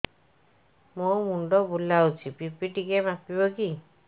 ମୋ ମୁଣ୍ଡ ବୁଲାଉଛି ବି.ପି ଟିକିଏ ମାପିବ କି